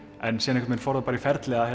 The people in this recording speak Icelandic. en síðan fór það í ferli að